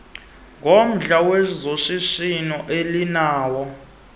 ngomdla wezoshishino elinawo